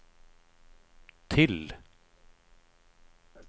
till